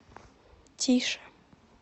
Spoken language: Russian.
тише